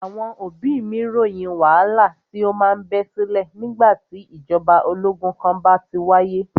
Àwọn òbí mí ròyìn wàhálà tí o má ń bẹ sílẹ̀ nígbà tí ìgbàjọba ológun kan bá ti wáyé.